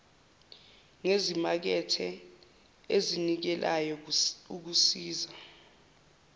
ngezimakethe ezinikelayo kusiza